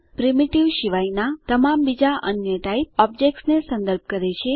primitive શિવાયનાં તમામ બીજા અન્ય ટાઈપ ઓબ્જેક્ટ્સ ને સંદર્ભ કરે છે